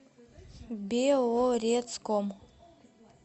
белорецком